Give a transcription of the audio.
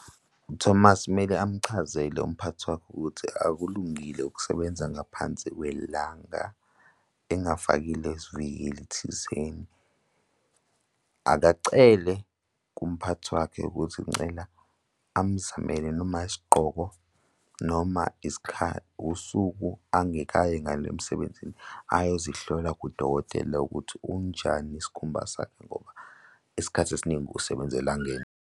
UThomas kumele amchazele umphathi wakhe ukuthi akulungile ukusebenza ngaphansi kwelanga engafakile izivikeli thizeni. Akacele kumphathi wakhe ukuthi ucela amuzamele noma isigqoko, noma isikhathi, usuku angeke aye ngalo emsebenzini, ayozihlola kudokotela ukuthi unjani isikhumba sakhe ngoba isikhathi esiningi usebenza elangeni.